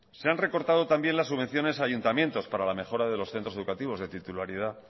se han recortado también las subvenciones a los ayuntamientos para la mejora de los centros educativos de titularidad